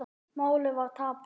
Málið var tapað.